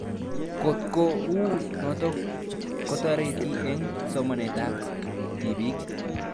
Kotko uu notok kotareti eng' somanet ab tiipik